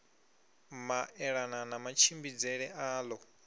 maelana na matshimbidzele a ḓo